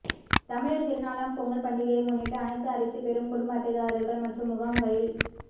தமிழர் திருநாளாம் பொங்கல் பண்டிகையை முன்னிட்டு அனைத்து அரிசி பெறும் குடும்ப அட்டைதாரர்கள் மற்றும் முகாம்களில்